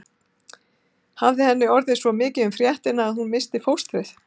Hafði henni orðið svo mikið um fréttina að hún missti fóstrið?